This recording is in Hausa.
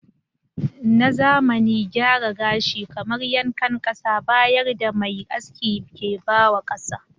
Na zamani gyara gashi kamar yankan kasa bayar da m da mai aski ke ba wa maza.